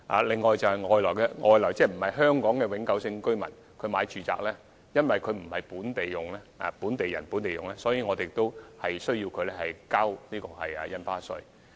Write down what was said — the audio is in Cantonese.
此外，對於外地個人買家，因為他們購買住宅並非"本地人本地用"，所以政府也要求他們繳付印花稅。